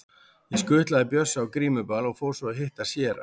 Ég skutlaði Bjössa á grímuball og fór svo að hitta séra